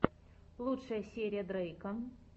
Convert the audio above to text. лучшая серия дрейка